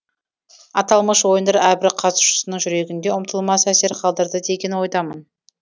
аталмыш ойындар әрбір қатысушының жүрегінде ұмытылмас әсер қалдырды деген ойдамын